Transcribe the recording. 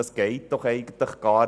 Das geht doch nicht!